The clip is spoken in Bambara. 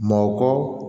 Mɔkɔ